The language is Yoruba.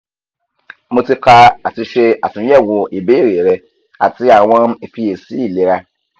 mo ti ka ati ṣe atunyẹwo ibeere rẹ ati awọn ifiyesi ilera